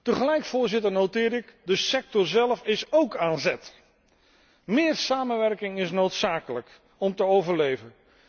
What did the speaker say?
Tegelijk, Voorzitter, merk ik op de sector zelf is ook aan zet. Meer samenwerking is noodzakelijk om te overleven.